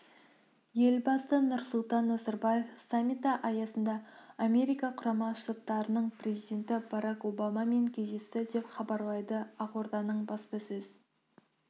елбасы нұрсұлтан назарбаев саммиті аясында америка құрама штаттарының президенті барак обамамен кездесті деп хабарлайды ақорданың баспасөз